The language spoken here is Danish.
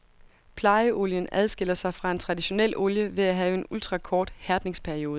Plejeolien adskiller sig fra en traditionel olie ved at have en ultrakort hærdningsperiode.